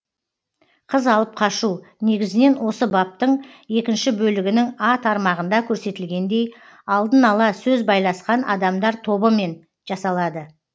қыз алып қашу негізінен осы баптың екінші бөлігінің а тармағында көрсетілгендей алдын ала сөз байласқан адамдар тобымен жасалады